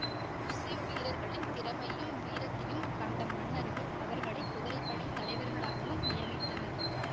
முஸ்லிம் வீரர்களின் திறமையையும் வீரத்தியும் கண்ட மன்னர்கள் அவர்களை குதிரைப்படைத் தலைவர்களாகவும் நியமித்தனர்